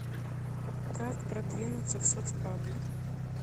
как продвинуться в соцпаблик